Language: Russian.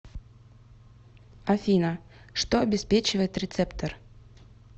афина что обеспечивает рецептор